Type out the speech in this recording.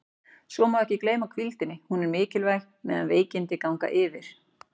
Svo má ekki gleyma hvíldinni, hún er mikilvæg meðan veikindi ganga yfir.